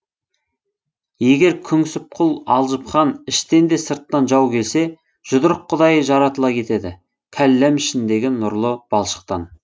егер күңсіп құл алжып хан іштен де сырттан жау келсе жұдырық құдайы жаратыла кетеді кәлләм ішіндегі нұрлы балшықтан